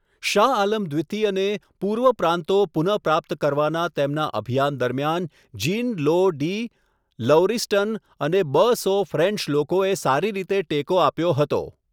શાહ આલમ દ્વિતીયને, પૂર્વીય પ્રાંતો પુનઃપ્રાપ્ત કરવાના તેમના અભિયાન દરમિયાન જીન લો ડી લૌરીસ્ટન અને બ સો ફ્રેન્ચ લોકોએ સારી રીતે ટેકો આપ્યો હતો.